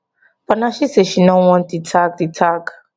but na she say she no want di tag di tag